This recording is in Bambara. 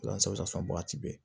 wagati bɛɛ